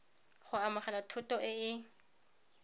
go amogela thoto e e